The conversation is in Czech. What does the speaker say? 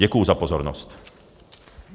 Děkuji za pozornost.